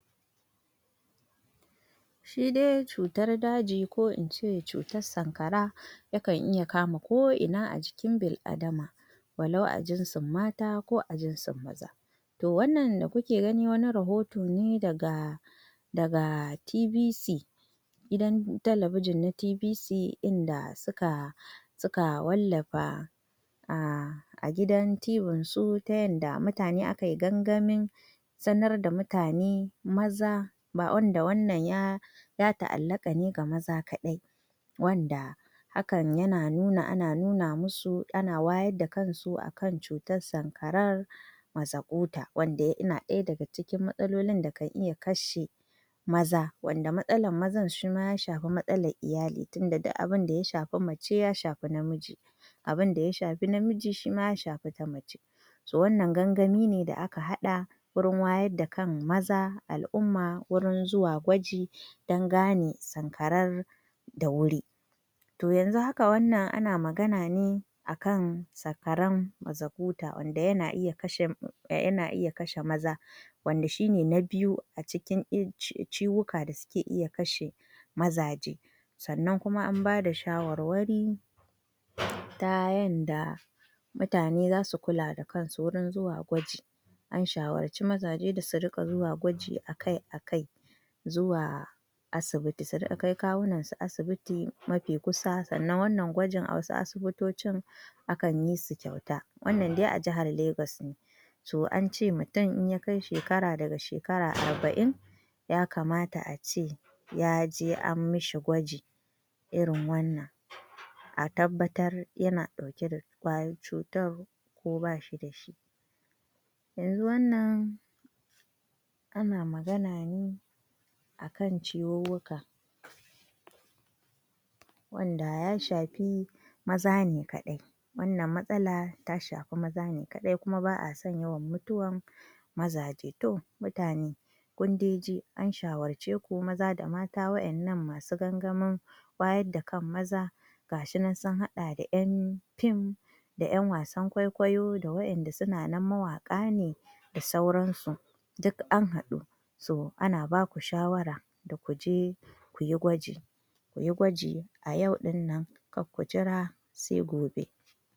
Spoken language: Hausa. Shi dai cutar daji ko in ce cutar sankara yakan iya kama ko ina a jikin bil’adama wa lau a jinsin mata ko a jinsin maza To, wannan da kuke gani wani rahoto ne daga daga TVC gidan talabijin na TVC inda suka suka wallafa a a gidan TV Sun tayan da mutane aka yi gangamin sanar da mutane maza wannan ya ta’allaka ne ga maza kaɗai wanda hakan yana nuna ana nuna musu, ana wayar da kansu a kan cutar sankarar masakuta, wanda yana ɗaya daga cikin matsalolin da kan iya kashe maza wanda matsalar maza shima ya shafi matsalar iyali, tunda duk abin da ya shafi mace ya shafi namiji abin da ya shafi namiji shima ya shafi mace wannan gangami ne da aka haɗa wurin wayar da kai ne ga maza a al’umma wurin zuwa gwaji domin gane sankarar da wuri To, yanzu haka, ana magana ne a kan sankarar masakuta wadda ke iya kashe maza Wanda shine na biyu a cikin cututtuka da ke iya kashe mazaje Sannan kuma an bada shawarwari ta yanda mutane za su kula da kansu wajen zuwa gwaji An shawarci mazaje da su riƙa zuwa gwaji a kai a kai zuwa asibiti, su riƙa kai kawunansu asibiti mafi kusa sannan annan gwaji a wasu asibitoci akan yi shi kyauta Wannan dai a Jihar Lagos ne To, an ce mutum idan ya kai shekara arba’in ya kamata ace ya je a masa gwaji irin wannan a tabbatar ko yana ɗauke da cutar ko bashi dashi Yanzu wannan ana magana ne a kan ciwuwuka wanda ya shafi maza ne kaɗai Wannan matsala ta shafi maza ne kaɗai. Kuma ba a son yawan mutuwar mazaje To, mutane kun dai ji an shawarce ku maza da mata Waɗanda suka shirya wannan gangamin wayar da kan maza gashi nan sun haɗa da ‘yan fim da ‘yan wasan kwaikwayo, da waɗanda suke mawaka ne da sauransu Duk an haɗu ana ba ku shawara da ku je ku yi gwaji ku yi gwaji a yau ɗinnan kar ku jira sai gobe.